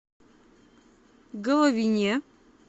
головине